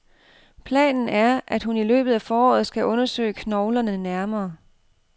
Planen er, at hun i løbet af foråret skal undersøge knoglerne nærmere.